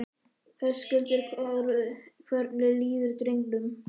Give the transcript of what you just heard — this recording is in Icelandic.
Höskuldur Kári: Hvernig líður drengnum?